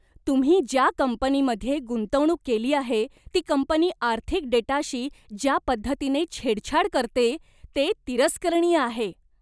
तुम्ही ज्या कंपनीमध्ये गुंतवणूक केली आहे ती कंपनी आर्थिक डेटाशी ज्या पद्धतीने छेडछाड करते ते तिरस्करणीय आहे.